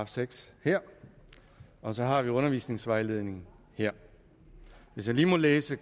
seks her og så har vi undervisningsvejledningen her hvis jeg lige må læse